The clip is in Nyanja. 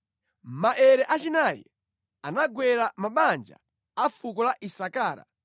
Maere achinayi anagwera mabanja a fuko la Isakara.